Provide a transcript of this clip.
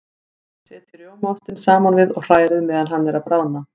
Setjið rjómaostinn saman við og hrærið meðan hann er að bráðna.